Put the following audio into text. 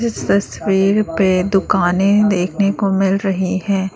इस तस्वीर पे दुकानें देखने को मिल रही है।